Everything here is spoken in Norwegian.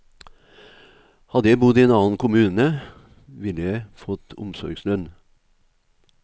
Hadde jeg bodd i en annen kommune, ville jeg fått omsorgslønn.